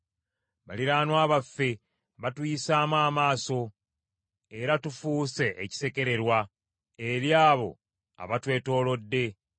Baliraanwa baffe batuyisaamu amaaso, era tufuuse ekisekererwa eri abo abatwetoolodde.